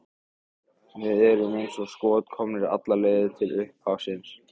Við erum eins og skot komnir alla leið til upphafsins.